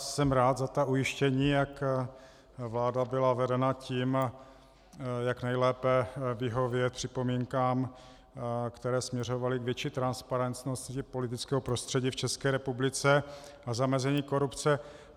Jsem rád za ta ujištění, jak vláda byla vedena tím, jak nejlépe vyhovět připomínkám, které směřovaly k větší transparentnosti politického prostředí v České republice a zamezení korupce.